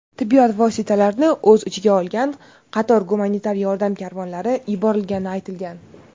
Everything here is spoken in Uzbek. tibbiyot vositalarini o‘z ichiga olgan qator gumanitar yordam karvonlari yuborilgani aytilgan.